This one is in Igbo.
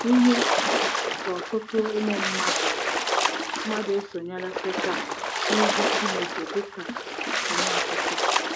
Ihe ka ọtụtụ n'ụmụ mmadụ mmadụ esonyela Setan n'ịjụ Chineke dị ka Onye Ọchịchị.